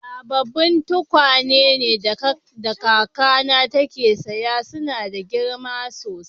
Sabobin tukwane da kaka na te siya suna da girma sosai.